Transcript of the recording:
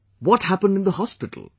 What happened in the hospital